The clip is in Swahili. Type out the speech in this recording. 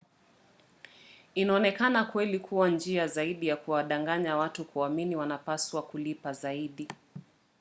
inaonekana kweli kuwa njia zaidi ya kuwadanganya watu kuamini wanapaswa kulipa zaidi